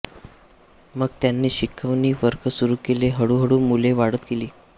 मग त्यांनी शिकवणी वर्ग सुरू केले हळूहळू मुले वाढत गेली